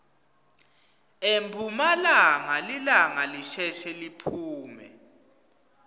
emphumalanga lilanga lisheshe liphume